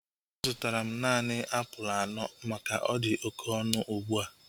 A zụtara m naanị apụl anọ maka na ọdi oké ọnụ ugbua